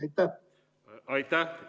Aitäh!